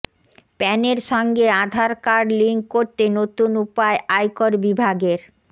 প্যানের সঙ্গে Aadhaar card link করতে নতুন উপায় আয়কর বিভাগের